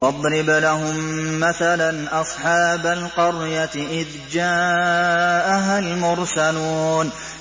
وَاضْرِبْ لَهُم مَّثَلًا أَصْحَابَ الْقَرْيَةِ إِذْ جَاءَهَا الْمُرْسَلُونَ